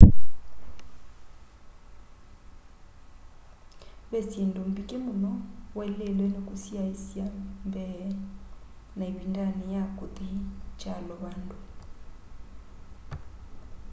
ve syĩndũ mbingĩ mũno waĩlĩlwe nĩ kũsyaĩsya mbee na ĩvindanĩ ya kũthi kyalo vandũ